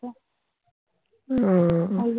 উহ